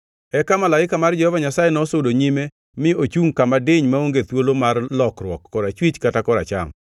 Eka malaika mar Jehova Nyasaye nosudo nyime mi ochungʼ kama diny maonge thuolo mar lokruok, korachwich kata koracham.